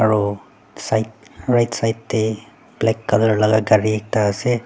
aro side right side tae black colour laka gari ekta ase.